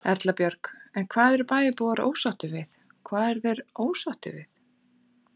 Erla Björg: En hvað eru bæjarbúar ósáttir við, hvað eru þeir ósáttir við?